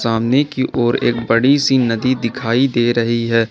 सामने की ओर एक बड़ी सी नदी दिखाई दे रही है।